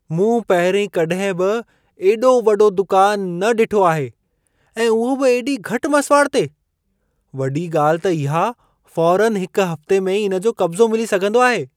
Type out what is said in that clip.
मूं पहिरीं कॾहिं बि एॾो वॾो दुकान न ॾिठो आहे ऐं उहो बि एॾी घटि मसिवाड़ ते! वॾी ॻाल्हि त इहा फ़ौरनि हिक हफ़्ते में ई इन जो कब्ज़ो मिली सघंदो आहे।